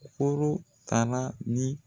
Koro kara ni